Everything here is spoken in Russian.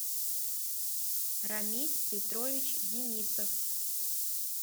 рамиль петрович денисов